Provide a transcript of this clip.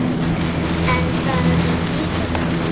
En það er líka gaman.